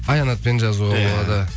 аянатпен жазуға болады